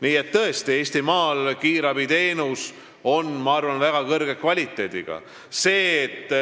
Nii et tõesti, Eestimaal kiirabiteenus on, ma arvan, väga kõrge kvaliteediga.